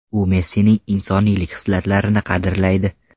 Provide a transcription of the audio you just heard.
U Messining insoniylik xislatlarini qadrlaydi.